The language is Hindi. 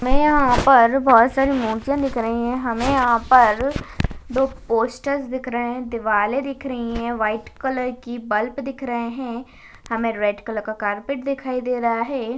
हमें यहां पर बहुत सारी मुर्तिया दिख रही है हमें यहां पर दो पोस्टर्स दिख रहे हैं दीवाले दिख रही हैं व्हाइट कलर की बल्ब दिख रहे है हमें रेड कलर का कारपेट दिख रहा है।